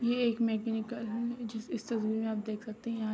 ये एक मैकेनिकल है जिस इस तस्वीर में आप देख सकते है यहां।